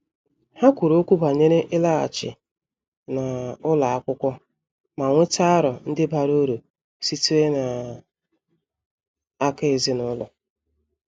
Ha kwuru okwu banyere ịlaghachi n' ụlọ akwụkwọ ma nweta aro ndi bara uru sitere n' aka ezinụlọ.